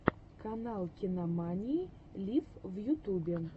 канал кинамании лив в ютубе